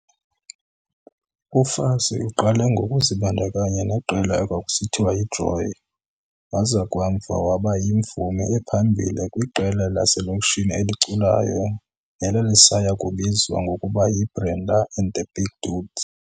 UFassie uqale ngokuzibandakanya neqela ekwakusithiwa yiJoy waza kamva waba yimvumi ephambili kwiqela laselokishini eliculayo nelalisayakubizwa ngokuba yi-Brenda and the Big Dudes.